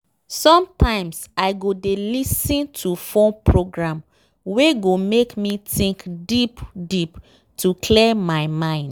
sometimes i go dey lis ten to phone program wey go make me think deep deep to clear my mind.